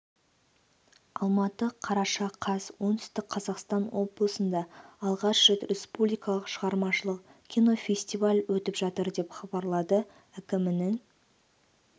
алматы қараша қаз оңтүстік қазақстан облысында алғаш рет республикалық шығармашылық кинофестиваль өтіп жатыр деп хабарлады әкімінің